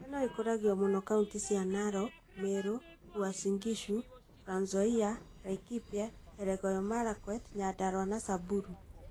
Ngano ĩkũragio mũno kauntĩ cia Narok, Meru, Uasin Gishu, Trans Nzoia, Laikipia, Elgeyo Marakwet, Nyandarua na Samburu